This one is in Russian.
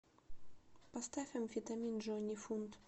поставь амфетамин джонни фунт